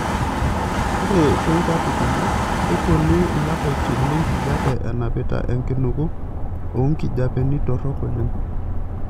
Ore too nkuapi kumok, kepuonu lapaitin lenkijiepe enapita enkinuku oo nkijiepeni torok oleng'.